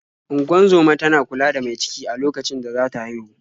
Ungozoma tana kula da mai ciki a okacin da za ta haihu.